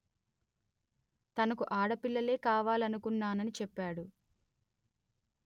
తనకు ఆడపిల్లే కావాలనుకున్నానని చెప్పాడు